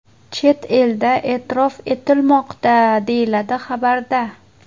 Chet elda e’tirof etilmoqda”, deyiladi xabarda.